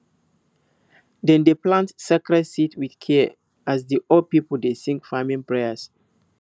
dem dey plant sacred seeds with care as di old people dey sing farming prayers